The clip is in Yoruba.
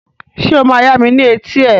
Ṣé o máa yami ni eti ẹ?